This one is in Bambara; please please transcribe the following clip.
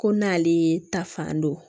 Ko n'ale ta fan don